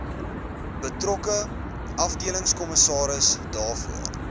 betrokke afdelingskommissaris daarvoor